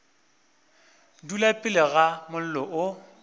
dula pele ga mollo o